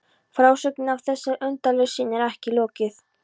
Frásögninni af þessari undarlegu sýn er ekki lokið.